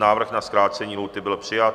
Návrh na zkrácení lhůty byl přijat.